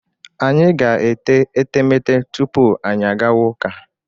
Anyị ga-ete etemete tupu anyị agawa ụka.